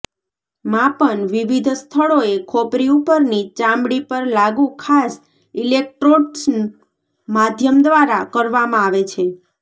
માપન વિવિધ સ્થળોએ ખોપરી ઉપરની ચામડી પર લાગુ ખાસ ઇલેક્ટ્રોડ્સ માધ્યમ દ્વારા કરવામાં આવે છે